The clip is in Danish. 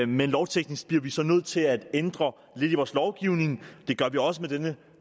men lovteknisk bliver vi så nødt til at ændre lidt i vores lovgivning det gør vi også med dette